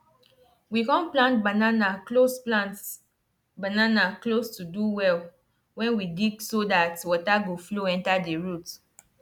we com plant banana close plant banana close to de well wen we dig so dat water go flow enter de roots